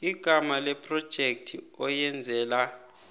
igama lephrojekhthi oyenzela